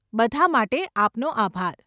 બધાં માટે આપનો આભાર.